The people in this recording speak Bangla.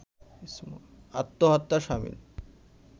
আত্মহত্যার শামিল